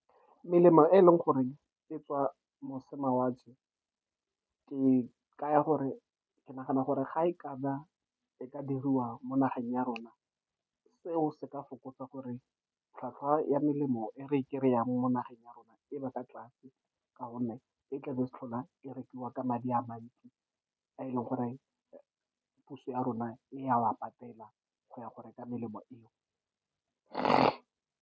Melemo e e leng gore e tswa mošamawatle e kaya gore, ke nagana gore ga e e ka diriwa mo nageng ya rona. Seo se ka fokotsa gore tlhwatlhwa ya melemo e re kry-ang mo nageng ya rona e be kwa tlase, ka gonne e tlabe e sa tlhola e rekiwa ka madi a mantsi, a e leng gore puso ya rona e a wa patela go ya go reka melemo eo .